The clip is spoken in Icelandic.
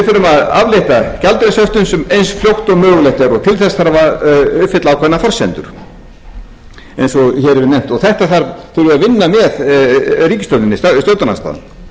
þurfum að aflétta gjaldeyrishöftum eins fljótt og mögulegt er og til þess þarf að uppfylla ákveðnar forsendur eins og hér er nefnt og þetta þarf stjórnarandstaðan að vinna með